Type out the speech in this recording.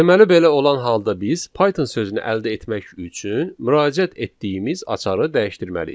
Deməli belə olan halda biz Python sözünü əldə etmək üçün müraciət etdiyimiz açarı dəyişdirməliyik.